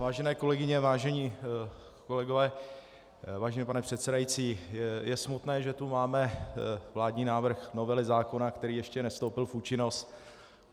Vážené kolegyně, vážení kolegové, vážený pane předsedající, je smutné, že tu máme vládní návrh novely zákona, který ještě nevstoupil v účinnost.